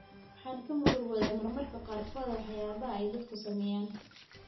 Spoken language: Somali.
Waxaan ka murugooda mararka qaarkood waxyaabaha ay dadku sameeyaan.